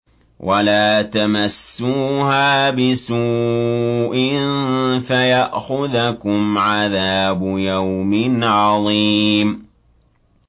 وَلَا تَمَسُّوهَا بِسُوءٍ فَيَأْخُذَكُمْ عَذَابُ يَوْمٍ عَظِيمٍ